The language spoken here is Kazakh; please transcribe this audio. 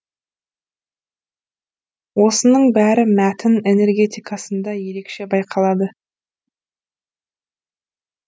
осының бәрі мәтін энергетикасында ерекше байқалады